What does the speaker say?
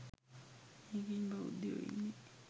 මේකෙනෙ බෞද්ධයො ඉන්නෙ